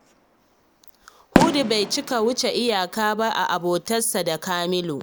Hudu bai cika wuce iyaka ba a abotarsa da Kamalu